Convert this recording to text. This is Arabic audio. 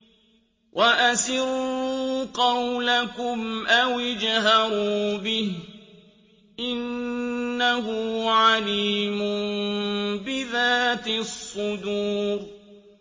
وَأَسِرُّوا قَوْلَكُمْ أَوِ اجْهَرُوا بِهِ ۖ إِنَّهُ عَلِيمٌ بِذَاتِ الصُّدُورِ